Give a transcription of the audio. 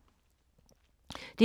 DR K